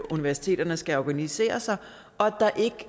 universiteterne skal organisere sig og at der ikke